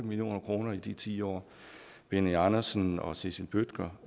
million kroner i de ti år benny andersen og cecil bødker